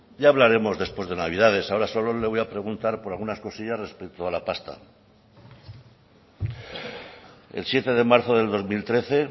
ya hablaremos después de navidades ahora solo le voy a preguntar por algunas cosillas respecto a la pasta el siete de marzo del dos mil trece